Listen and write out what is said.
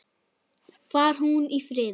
Far hún í friði.